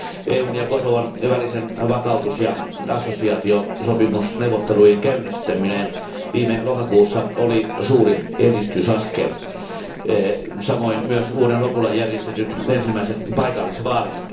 EUn ja Kosovon välisen vakautus ja assosiaatiosopimusneuvotteluiden käynnistäminen viime lokakuussa oli suuri edistysaskel, samoin myös vuoden lopulla järjestetyt ensimmäiset paikallisvaalit.